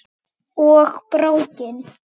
Og BRÓKIN!